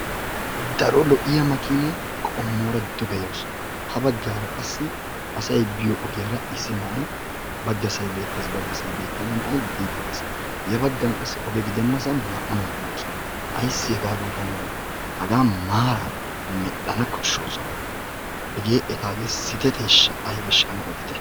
daro lo''iyaa makiniyaa qommora duge yawus. ha baggara qassi asay biyo ogiyaara issinay baggassay beettees baggassay beettena nay ogiyaara biide dees. ya baggan qassi odge gidenassan naa''u naati beettoosona. haga maaara medhdhana beesooosona. hage etaage sitetteyeaybeeshsha ane oditte.